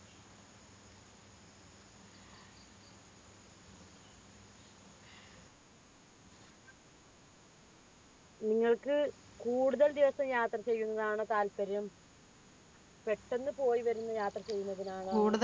നിങ്ങൾക്ക് കൂടുതൽ ദിവസം യാത്ര ചെയ്യുന്നതാണോ താല്പര്യം പെട്ടെന്ന് പോയി വരുന്ന യാത്ര ചെയ്യുന്നതിനാണോ നിങ്ങൾക്ക് കൂടുതൽ